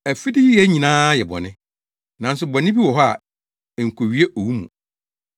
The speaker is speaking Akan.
Afideyɛ nyinaa yɛ bɔne, nanso bɔne bi wɔ hɔ a enkowie owu mu.